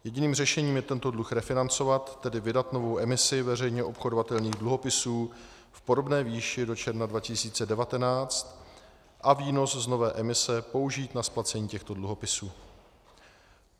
Jediným řešením je tento dluh refinancovat, tedy vydat novou emisi veřejně obchodovatelných dluhopisů v podobné výši do června 2019 a výnos z nové emise použít na splacení těchto dluhopisů.